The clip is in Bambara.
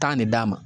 Taa ne d'a ma